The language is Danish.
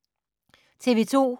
TV 2